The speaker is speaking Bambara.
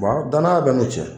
danaya bɛ n'u cɛ